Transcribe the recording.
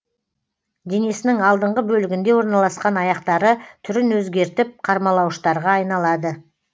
денесінің алдыңғы бөлігінде орналасқан аяқтары түрін өзгертіп қармалауыштарға айналады